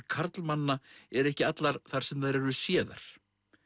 karlmanna eru ekki allar þar sem þær eru séðar